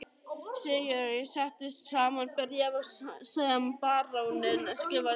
Sigurður setti saman bréf sem baróninn skrifaði undir.